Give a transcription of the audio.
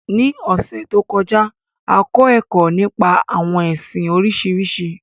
Ní ọ̀sẹ̀ to kọjá, a kọ ẹkọ nípa àwọn ẹsìn Oríṣiríṣi.